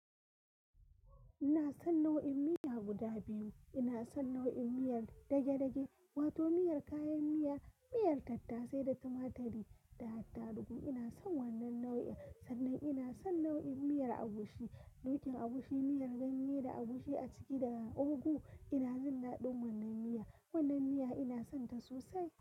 Ina son nau'in miya guda biyu. Ina son nau'in miyar dage-dage wato miyar kayan miya, miyar tattasai da tumaturi da attarugu. Ina son wannan nau'in. Sannan ina son nau'in miyar agushi, dokin agushi, miyar ganye da agushi a ciki da ogu. Ina jin daɗin wannan miyar. Wannan miyar ina sonta sosai.